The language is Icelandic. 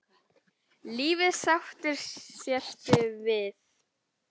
Lífið sáttur sértu við.